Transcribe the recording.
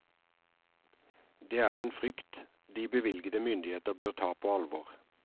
Det er en frykt de bevilgende myndigheter bør ta på alvor.